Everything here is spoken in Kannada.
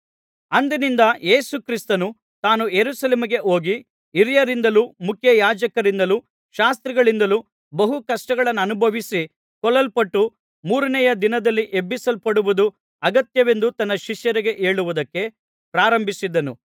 ಅಂದಿನಿಂದ ಯೇಸು ಕ್ರಿಸ್ತನು ತಾನು ಯೆರೂಸಲೇಮಿಗೆ ಹೋಗಿ ಹಿರಿಯರಿಂದಲೂ ಮುಖ್ಯಯಾಜಕರಿಂದಲೂ ಶಾಸ್ತ್ರಿಗಳಿಂದಲೂ ಬಹು ಕಷ್ಟಗಳನ್ನನುಭವಿಸಿ ಕೊಲ್ಲಲ್ಪಟ್ಟು ಮೂರನೆಯ ದಿನದಲ್ಲಿ ಎಬ್ಬಿಸಲ್ಪಡುವುದು ಅಗತ್ಯವೆಂದು ತನ್ನ ಶಿಷ್ಯರಿಗೆ ಹೇಳುವುದಕ್ಕೆ ಪ್ರಾರಂಭಿಸಿದನು